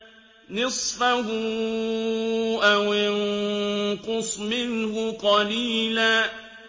نِّصْفَهُ أَوِ انقُصْ مِنْهُ قَلِيلًا